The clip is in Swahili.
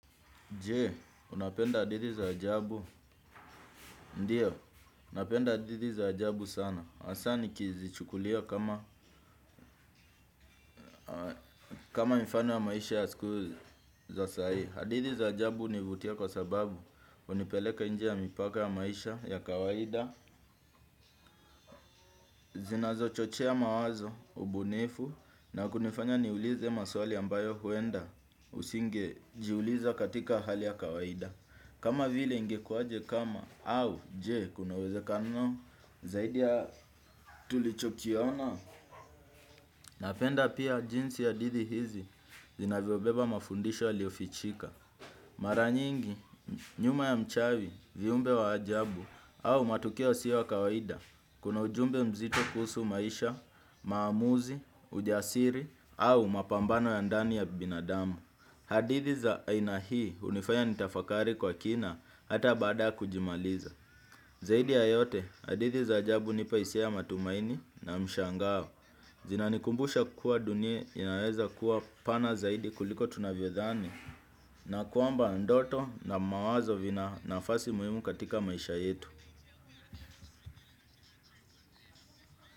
Je, unapenda hadithi za ajabu. Ndiyo, ulnapenda hadithi za ajabu sana. Hasa nikizichukulia kama mifano ya maisha ya sikuizi za sahii. Hadithi za ajabu hunivutia kwa sababu hunipeleka nje ya mipaka ya maisha ya kawaida. Zinazo chochea mawazo, ubunifu, na kunifanya niulize maswali ambayo huenda usingejiuliza katika hali ya kawaida. Kama vile ingekuaje kama au je kunawezekano zaidi ya tulichokiona. Napenda pia jinsi ya hadithi hizi zinavyobeba mafundisho yaliyofichika. Maranyingi nyuma ya mchawi viumbe wa ajabu au matukio yasio ya kawaida kuna ujumbe mzito kuhusu maisha, maamuzi, ujasiri au mapambano ya ndani ya binadamu. Hadithi za aina hii hunifaya nitafakari kwa kina hata baada kujimaliza. Zaidi ya yote hadithi za ajabu hunipa hisia ya matumaini na mshangao. Zinanikumbusha kuwa dunia inaweza kuwa pana zaidi kuliko tunavyodhani na kwamba ndoto na mawazo vina nafasi muhimu katika maisha yetu.